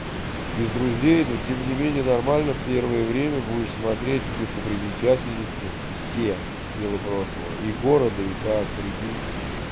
без друзей ну тем не менее нормально первое время будешь смотреть достопримечательности все дела прошлого и города и так прикинь